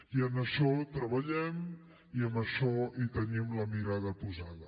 i en això treballem i en això tenim la mirada posada